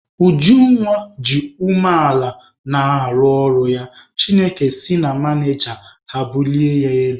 Ujunwa ji umeala na-arụ ọrụ ya, Chineke si na manịja ha bulie ya elu.